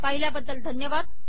पाहिल्याबद्दल धन्यवाद